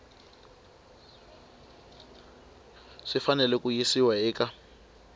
swi fanele ku yisiwa eka